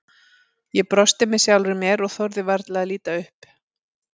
Ég brosti með sjálfri mér og þorði varla að líta upp.